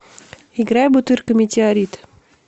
играй бутырка метеорит